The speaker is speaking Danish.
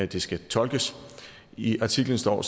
det skal tolkes i artiklen står